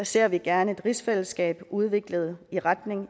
ser vi gerne et rigsfællesskab udviklet i retning